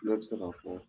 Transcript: Ne bɛ se k'a fɔ